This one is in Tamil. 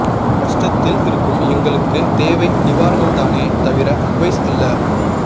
கஷ்டத்தில் இருக்கும் எங்களுக்கு தேவை நிவாரணம் தானே தவிர அட்வைஸ் அல்ல